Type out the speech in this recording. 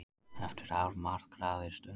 Eftir afmarkaðri stund.